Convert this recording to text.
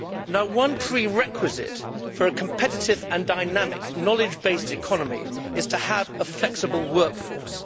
Now, one prerequisite for a competitive and dynamic knowledge based economy is to have a flexible work force.